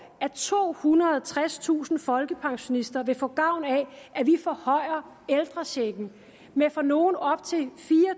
at tohundrede og tredstusind folkepensionister vil få gavn af at vi forhøjer ældrechecken med for nogle op til fire